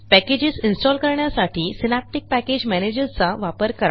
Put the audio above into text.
packages install कण्यासाठी Synaptic package manager चा वापर करा